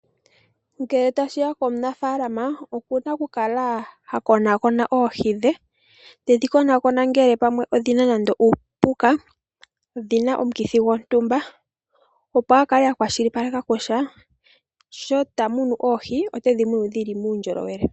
Ngele tashiya komunafaalama okuna okukala ha konaakona oohi dhe, tedhi konaakona ngele pamwe odhina nande uupuka dhina omukithi gwontumba opo akale akwashilipaleka kutya sho tamunu oohi otedhi munu dhili muundjolowele.